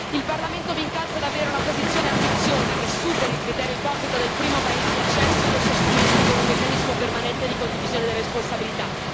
Il Parlamento vi incalza ad avere una posizione ambiziosa, che superi il criterio ipocrita del primo paese di accesso e lo sostituisca con un meccanismo permanente di condivisione delle responsabilità.